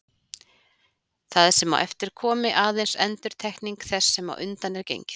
Það sem á eftir komi aðeins endurtekning þess sem á undan er gengið.